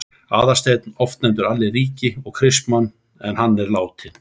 Aðalsteinn, oft nefndur Alli ríki, og Kristmann en hann er látinn.